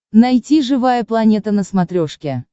найти живая планета на смотрешке